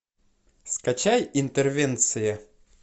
скачай интервенция